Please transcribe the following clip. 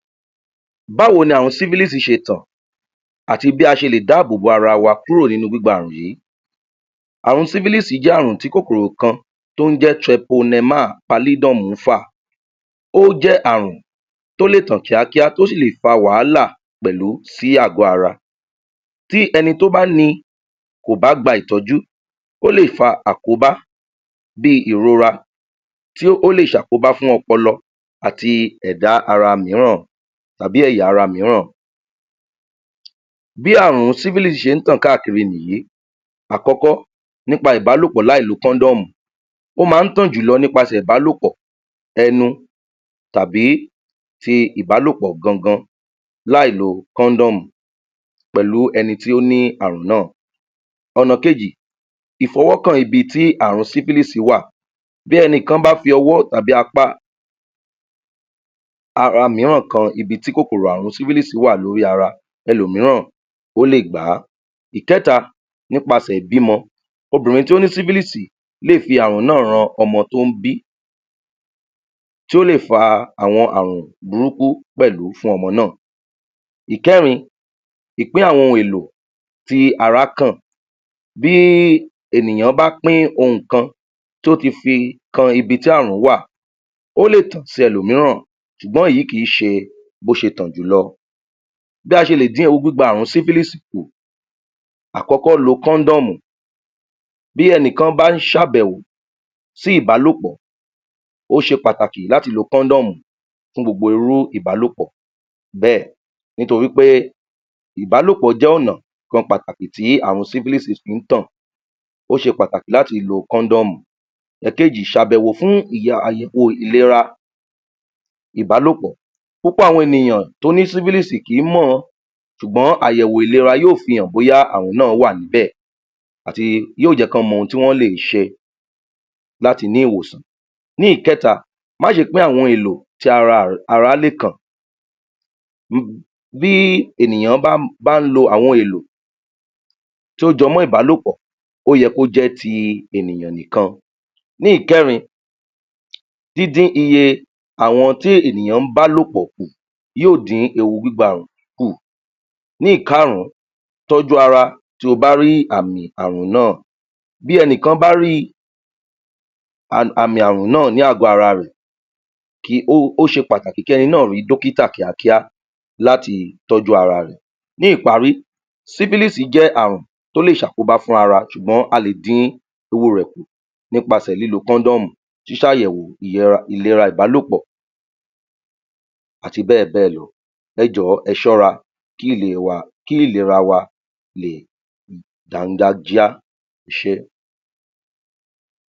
Báwo ni àrùn sípílìsì ṣe tàn àti bí a ṣe lè dáábò bò ara wa kúrò nínú gbígba àrùn yìí. Àrùn sípílìsì yìí jẹ́ àrùn kòkòrò kan tó ń jẹ́ Treponema pallidum ń fà. Ó jẹ́ àrùn tó lè tàn kíákíá tí ó sì lè fa wàhálà pẹ̀lú sí àgo ara, tí ẹni tó bá ni kò bá gba ìtọ́jú, ó lè fa àkóbá bí ìrora, tí ó lè ṣe àkóbá fún ọpọlọ àti ẹ̀dá ara mìíràn. tàbí ẹ̀ya ara mìíran. Bí àrùn sipilisi ṣe ń tàn káàkiri nìyí. Àkọ́kọ́ nípa ìbálòpọ̀ láì lo kọ́ndọ̀mù; ó màà ń tàn jùlọ nípasẹ ìbálòpò, ẹnu tàbí tí ìbálòpọ̀ gangan láì lo kọ́ndọ̀mù pẹ̀lú ẹni tí ó ní àrùn náà. Ọ̀nà kejì, ìfọwọ́kàn ibi tí àrùn sípílìsì wà; tí ẹnìkan bá fi ọwọ́ tàbí apá ara mìíràn kan ibi tí kòkòrò sípílìsì bá wà lórí ara, ẹlòmííràn ,o le gbá. Ẹ̀kẹta, nípasẹ̀ ìbímọ; Obìnrin tó ní sipilisi lè fi àrùn náà ran ọmọ tó ń bi, tí o lè fa àwọn àrùn burúkú pẹ̀lú fún ọmọ náà. Ẹ̀kẹrin ìpín àwọn ohun èlò tí ará kàn, tí ènìyàn bá pín ohun kan tí ó ti fi kan ibi tí àrùn náà wà, ó lè tàn sí elòmìíràn ṣùgbọ́n èyí kìí ṣe bí o ṣe tàn jùlọ. Bí a ṣe lè dín ewu gbígbà àrùn sípílìsì kù. Àkọ́kọ́, lo kọ́ndọ̀mù, bí ẹnikan bá ń ṣe àbẹ̀wọ̀ sí ìbálòpọ̀, ó ṣe pàtàkì láti lo kọ́ndọ̀mù fún gbogbo irú ìbálòpọ̀ bẹ́ẹ̀, nítorípé ,ìbálòpọ́ jẹ́ ọ̀nà kan pàtàkì tí àrùn sípílìsì fí ń tàn, o ṣe pàtàkì láti lo kọ́ndọ̀mù. Ẹkejì ;Sàbẹ̀wò fún àyẹ̀wò fún ìlera ìbálopọ̀, púpọ̀ àwọn ènìyàn tó ní sípílìsì kì í mọ̀ ṣùgbọ́n àyẹ̀wò ìlera yóò fi hàn bóyá àrùn náà wà níbẹ̀, àti yóò jẹ́ kí wọ́n mọ ohun tí wọ́n lè ṣe láti ní ìwòsàn. Ní ìkẹta ma ṣe pín àwọn èlò tí ara ará lè kàn, bí ènìyàn bá ń lo àwọn èlò tó jọ mọ́ ìbálòpọ̀, ó yẹ kí ó jẹ́ ti ènìyàn nìkan. Ní ìkẹrin ,dídín iye àwọn tí ènìyàn ń bálòpọ̀ kù, yóò dí ewu gbígbà àrùn yìí kù. Ní ìkarun tójú ara, tí o bá rí àmì àrún náà, bí ẹnikéni bá rí àmì àrùn náà ní àgo ara rẹ̀, ó ṣe pàtàkì kí ẹni náà rí dọ́kítà kíákíá láti tọ́jú ara rẹ̀. Ní ìparí sipilisi jẹ́ àrùn tó lè ṣe àkóbá fún ara, ṣùgbọ́n a lè dín ewu rẹ̀ kù nípasẹ̀ kọ́ndọ̀mù, ṣíṣàyèwò ìlera ìbálòpọ̀ àti bẹ́ẹ̀ bẹ́ẹ̀ lọ. Ẹjọ̀wọ́ ẹ ṣọ́ra kí ìlera wa lè dánganjíá.